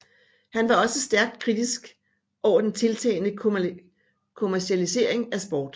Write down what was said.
Han var også stærkt kritisk over den tiltagende kommercialisering af sport